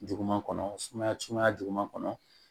Juguman kɔnɔ sumaya sumaya juguman kɔnɔ